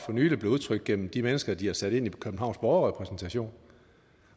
for nylig blev udtrykt gennem de mennesker de har sat ind i københavns borgerrepræsentation